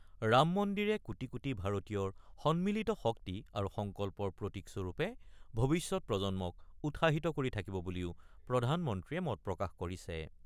ৰাম মন্দিৰে কোটি কোটি ভাৰতীয়ৰ সন্মিলিত শক্তি আৰু সংকল্পৰ প্ৰতীক স্বৰূপে ভৱিষ্যৎ প্ৰজন্মক উৎসাহিত কৰি থাকিব বুলিও প্ৰধানমন্ত্ৰীয়ে মতপ্ৰকাশ কৰিছে।